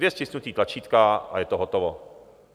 Dvě stisknutí tlačítka, a je to hotovo.